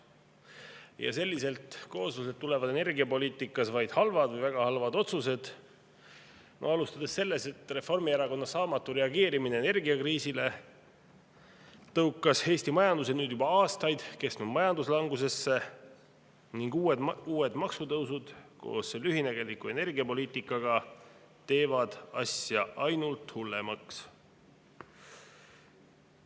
Ja selliselt koosluselt tulevad energiapoliitikas vaid halvad või väga halvad otsused, alustades sellest, et Reformierakonna saamatu reageerimine energiakriisile tõukas Eesti majanduse nüüd juba aastaid kestnud majanduslangusesse, ning uued maksutõusud koos lühinägeliku energiapoliitikaga teevad asja ainult hullemaks.